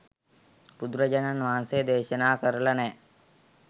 බුදුරජාණන් වහන්සේ දේශනා කරල නෑ.